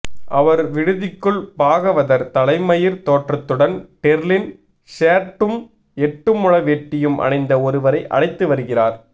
அவர் விடுதிக்குள் பாகவதர் தலைமயிர் தோற்றத்துடன் டெர்லின் ஷேர்ட்டும் எட்டுமுழவேட்டியும் அணிந்த ஒருவரை அழைத்து வருகிறார்